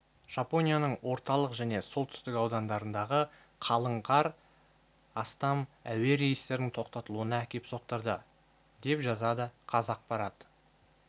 жапонияның орталық және солтүстік аудандарындағы қалың қар астам әуе рейстерінің тоқтатылуына әкеп соқтырды деп жазады қазақпарат